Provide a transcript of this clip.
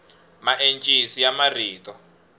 maencisi ya marito